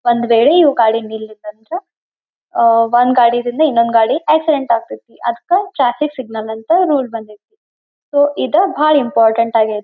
ಒಂದ್ ವೇಳೆ ಇವು ಗಡಿ ನಿಲ್ಲತಂದ್ರೆ ಒಂದ್ ಗಾಡಿ ಇಂದ ಇನ್ನೊಂದ್ ಗಾಡಿ ಆಕ್ಸಿಡೆಂಟ್ ಆಗತೈತಿ. ಅದಕ್ಕ ಟ್ರಾಫಿಕ್ ಸಿಗ್ನಲ್ ಅಂತ ರೂಲ್ ಬಂದಿದು. ಸೊ ಇದ ಬಹಳ ಇಂಪಾರ್ಟೆಂಟ್ ಆಗೈತಿ.